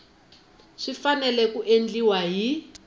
swi fanele ku endliwa hi